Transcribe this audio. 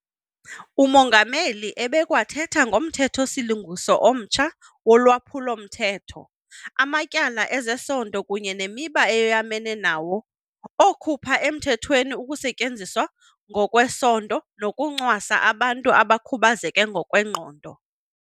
UMongameli ebekwathetha ngoMthetho-silungiso omtsha woLwaphulo-mthetho amaTyala ezeSondo kunye neMiba eyoyamene nawo okhupha emthethweni ukusetyenziswa ngokwesondo nokuncwasa abantu abakhubazeke ngokwengqondo.